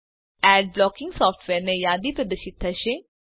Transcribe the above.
add blocking સોફ્ટવેરની યાદી પ્રદર્શિત થશે